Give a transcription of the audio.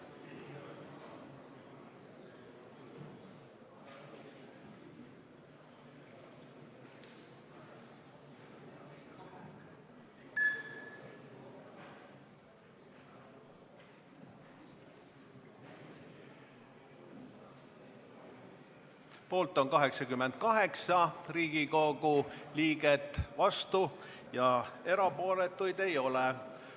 Hääletustulemused Poolt on 88 Riigikogu liiget, vastuolijaid ega erapooletuid ei ole.